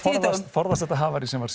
forðast þetta havarí sem var